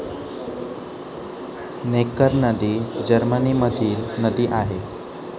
नेकर नदी जर्मनीमधील नदी आहे.